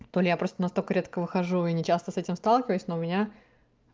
то ли я просто настолько редко выхожу и не часто с этим сталкиваюсь но у меня